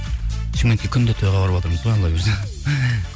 шымкентке күнде тойға барыватырмыз ғой алла бұйырса